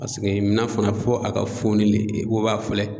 Paseke mina fana fo a ka foni le o ba filɛ.